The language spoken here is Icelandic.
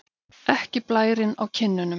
Ekki blærinn á kinnunum.